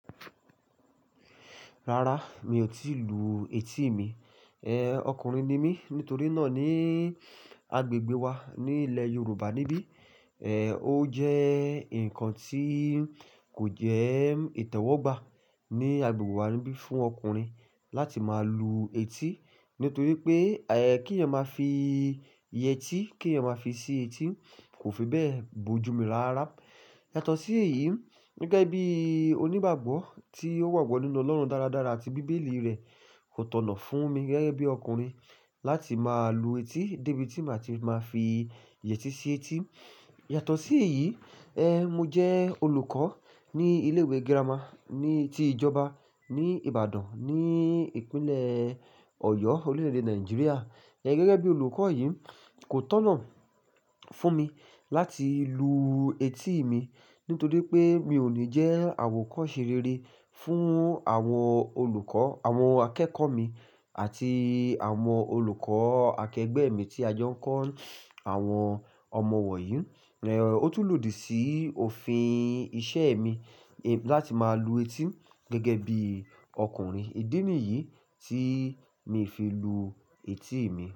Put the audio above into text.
Rárá, mi ò tíì lu etí mi. Eh, ọkùnrin ni mí. Nítorí náà níi agbègbè wa ní ilẹ̀ Yorùbá níbí, eh, ó jẹ́ ǹkan tíi kò jẹ́ ìtẹ́wọ́gbà ní agbègbè wa níbí fún ọkùnrin láti máa lu etí. Nítorí pé, eh, kí ẹ máa fi yẹtí, kí ẹ máa fi sí etí kò fi bẹ́ẹ̀ bojumu lára. Yàtọ̀ sí èyí, gẹ́gẹ́ bí onígbàgbọ́ tí ó wà gbọ́ nínú Ọlọ́run dáradára àti bíbélì rẹ̀ kò tọ̀nà fún mi gẹ́gẹ́ bí ọkùnrin láti máa lu etí débi tí màá ti máa fi yẹtí sí etí. Yàtọ̀ sí èyí, ẹh, mo jẹ́ olùkọ́ ní ilé ìwé girama ní-- tí ìjọba ní Ìbàdàn ní Ìpínlẹ̀ Ọ̀yọ́, orílẹ̀-èdè Nàìjíríà. Ẹ̀ gẹ́gẹ́ bí olùkọ́ yìí kò tọ̀nà fún mi láti luu etí mi nítorí pé mi ò ní jẹ́ àwòkọ́ṣe rere fún àwọn olùkọ́, àwọn akẹ́kọ̀ọ́ mi àti àwọn olùkọ́ akẹgbẹ́ mi tí a jọ ń kọ́ àwọn ọmọ wọ̀nyí. Eh, ó tú lòdì sí òfin iṣẹ́ mi, eh, láti máa lu etí gẹ́gẹ́ bí ọkùnrin. Ídínì yìí tí mi fi lu etí mi.